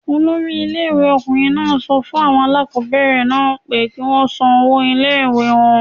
Olori ilé ìwé ọkùnrin náà sọ fún àwọn aláàkọ́bẹ̀rẹ̀ náà pé kí wọ́n san owó ilé ìwée wọn.